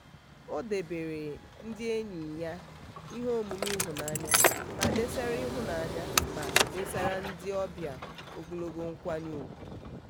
ọ debeere ndị enyi ya ihe omume ịhụnanya ma desara ịhụnanya ma desara ndị obịa ogologo nkwanye ugwu.